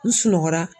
N sunɔgɔ la